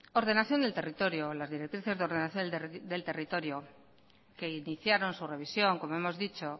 ordenación del territorio las directrices de ordenación del territorio que iniciaron su revisión como hemos dicho